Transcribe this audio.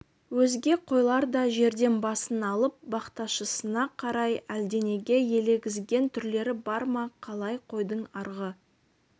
өзге қойлар да жерден басын алып бақташысына қарайды әлденеге елегізген түрлері бар ма қалай қойдың арғы